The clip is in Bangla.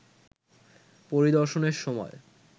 পরিদর্শনের সময়